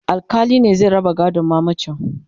alkali ne zai raba gadon mamacin